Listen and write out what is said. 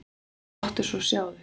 Og láttu svo sjá þig.